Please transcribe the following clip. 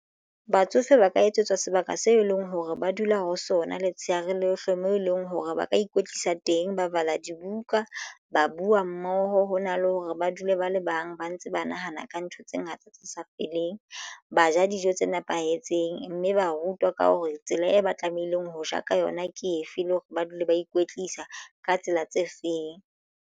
Batsofe ba ka etsetswa sebaka seo e leng hore ba dula ho sona letshehare lohle moo e leng hore ba ka ikwetlisa teng. Ba bala dibuka ba buwa mmoho hona le hore ba dule ba le bang ba ntse ba na nahana ka ntho tse ngata tse sa feleng. Ba ja dijo tse nepahetseng mme ba rutwa ka hore tsela e ba tlamehileng ho ja ka yona ke efe le hore ba dule ba ikwetlisa ka tsela tse feng.